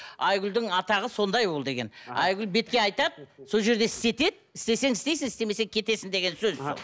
айгүлдің атағы сондай ол деген айгүл бетке айтады сол жерде істетеді сол жерде істейсің істемесең кетесің деген сөз